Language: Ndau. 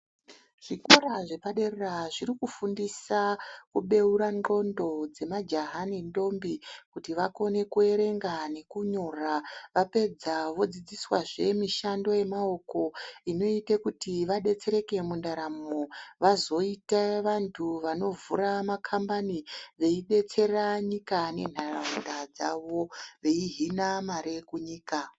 Zvikora zvepadera zviri kufundisa kubeura ndxondo dzemajaha nendombi kuti vakone kuerenga nekunyora. Vapedza vodzidziswazve mishando yemaoko inoita kuti vabetsereke mundaramo vazoite vantu vanovhura makambani veidetsera nyika nenharaunda dzavo veihina mare kunyika.